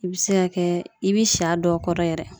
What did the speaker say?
I be se ka kɛ, i be si a dɔw kɔrɔ yɛrɛ.